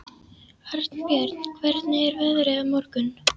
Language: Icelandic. Arnbjörn, hvernig er veðrið á morgun?